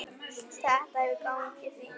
Þetta hefur gengið fínt.